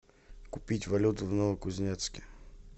купить валюту в новокузнецке